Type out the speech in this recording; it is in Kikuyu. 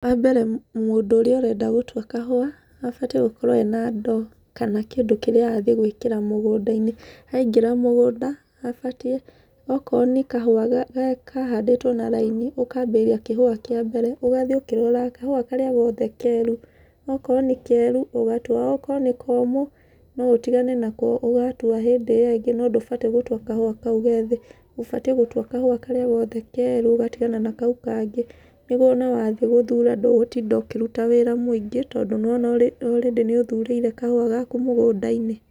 Wa mbere mũndũ ũrĩa ũrenda gũtua kahũa, abatiĩ gũkorwo ena ndoo kana kĩndũ kĩrĩa arathiĩ gwĩkĩra mũgũnda-inĩ. Aingĩra mũgũnda, abatiĩ, okorwo nĩ kahũa kahandĩtwo na raini, ũkambĩrĩria kĩhũa kĩa mbere, ũgathiĩ ũkĩroraga kahũa karĩa gothe keru. Okorwo nĩ keru, ũgatua, okorwo nĩ komũ, no ũtigane nako ũgatua hĩndĩ ĩyo ĩngĩ no ndũbatiĩ gũtua kahũa kau gethĩ. Ũbatiĩ gũtua kahũa karĩa gothe keru ũgatigana na kau kangĩ. Nĩguo ona wathi gũthura ndũgũtinda ũkĩruta wĩra mũingĩ tondũ nĩ wona already nĩ ũthurĩire kahũa gaku mũgũnda-inĩ.